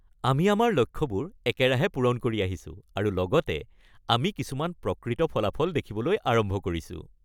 আমি আমাৰ লক্ষ্যবোৰ একেৰাহে পূৰণ কৰি আহিছো আৰু লগতে আমি কিছুমান প্ৰকৃত ফলাফল দেখিবলৈ আৰম্ভ কৰিছোঁ।